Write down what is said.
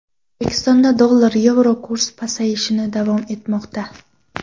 O‘zbekistonda dollar va yevro kursi pasayishni davom etmoqda.